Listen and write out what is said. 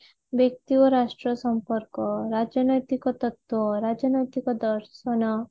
ବ୍ୟକ୍ତି ଓ ରାଷ୍ଟ୍ର ସମ୍ପର୍କ ରାଜନୈତିକ ତତ୍ବ୍ୟ ରାଜନୈତିକ ଦର୍ଶନ